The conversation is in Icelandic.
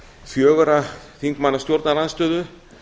fjögurra þingmanna stjórnarandstöðu